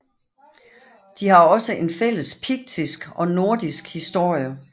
De har også en fælles piktisk og nordisk historie